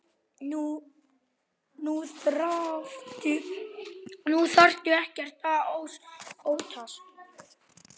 Nú þarftu ekkert að óttast.